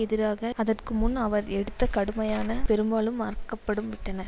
எதிராக அதற்கு முன்பு அவர் எடுத்த கடுமையான பெரும்பாலும் மறக்கப்படும் விட்டன